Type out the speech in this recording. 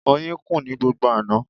Oyin kùn ní gbogbo àná.